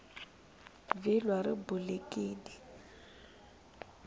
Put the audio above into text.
vhilwa ri bulekini